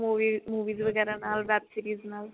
movie movies ਵਗੈਰਾ ਨਾਲ web series ਨਾਲ